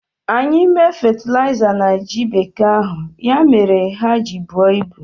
Anyị mee fetịliza na ji bekee ahụ, ya mere ha ji buo ibu